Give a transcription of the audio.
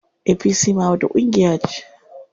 APC ma wata ƙungiya ce.